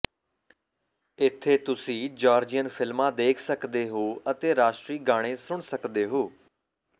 ਇੱਥੇ ਤੁਸੀਂ ਜਾਰਜੀਅਨ ਫਿਲਮਾਂ ਦੇਖ ਸਕਦੇ ਹੋ ਅਤੇ ਰਾਸ਼ਟਰੀ ਗਾਣੇ ਸੁਣ ਸਕਦੇ ਹੋ